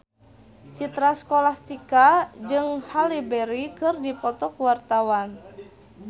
Citra Scholastika jeung Halle Berry keur dipoto ku wartawan